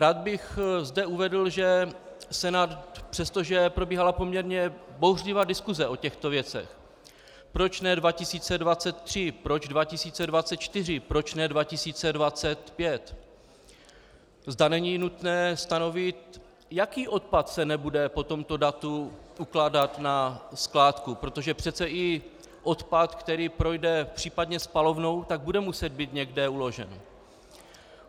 Rád bych zde uvedl, že Senát přesto, že probíhala poměrně bouřlivá diskuse o těchto věcech - proč ne 2023, proč 2024, proč ne 2025, zda není nutné stanovit, jaký odpad se nebude po tomto datu ukládat na skládku, protože přece i odpad, který projde případně spalovnou, tak bude muset být někde uložen.